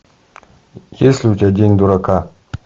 есть ли у тебя день дурака